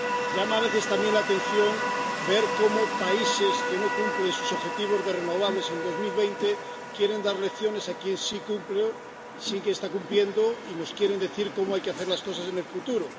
Llama a veces también la atención ver cómo países que no cumplen sus objetivos de renovables en 2020 quieren dar lecciones a quien sí ha cumplido, sí que está cumpliendo, y nos quieren decir cómo hay que hacer las cosas en el futuro.